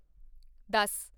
ਦਸ